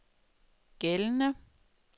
gældende